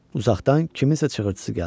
Uzaqdan kiminsə çığırtısı gəldi.